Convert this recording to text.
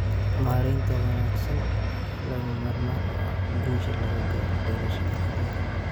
Maareynta wanaagsan ayaa lagama maarmaan u ah guusha laga gaaro beerashada kallunka.